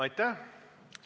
Aitäh!